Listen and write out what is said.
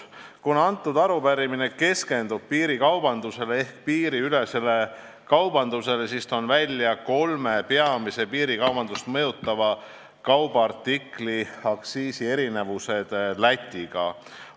" Kuna arupärimine keskendub piirikaubandusele ehk piiriülesele kaubandusele, siis toon välja kolme peamise piirikaubandust mõjutava kaubaartikli aktsiiside erinevused Lätiga võrreldes.